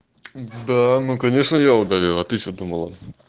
да ну конечно я удалил а ты че думала